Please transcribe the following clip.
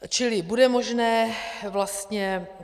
Čili bude možné vlastně...